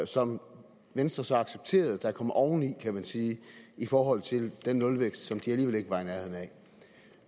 som venstre så accepterede kommer oveni kan man sige i forhold til den nulvækst som de alligevel ikke var i nærheden af